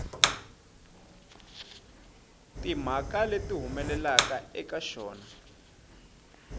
timhaka leti humelelaka eka xona